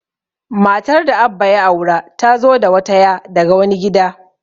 Matar da Abba ya aura, ta zo da wata ya' daga wani gida.